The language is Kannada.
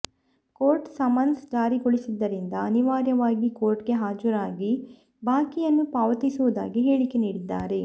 ಕೋರ್ಟ್ ಸಮನ್ಸ್ ಜಾರಿಗೊಳಿಸಿದ್ದರಿಂದ ಅನಿವಾರ್ಯವಾಗಿ ಕೋರ್ಟ್ಗೆ ಹಾಜರಾಗಿ ಬಾಕಿಯನ್ನು ಪಾವತಿಸುವುದಾಗಿ ಹೇಳಿಕೆ ನೀಡಿದ್ದಾರೆ